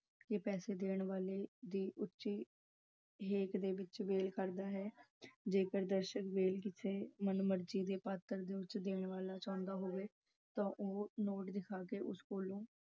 ਕੇ ਪੈਸੇ ਦੇਣ ਵਾਲੇ ਦੀ ਉੱਚੀ ਹੇਕ ਵਿੱਚ ‘ਵੇਲ’ ਕਰਦੇ ਹਨ। ਜੇਕਰ ਦਰਸ਼ਕ ਵੇਲ ਕਿਸੇ ਮਨ-ਮਰਜੀ ਦੇ ਪਾਤਰ ਨੂੰ ਦੇਣਾ ਚਾਹੁੰਦੇ ਹੋਣ ਤਾਂ ਨੋਟ ਦਿਖਾ ਕੇ ਉਸ ਨੂੰ ਕੋਲੋਂ